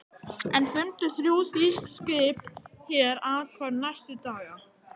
Enn fundu þrjú þýsk skip hér athvarf næstu daga.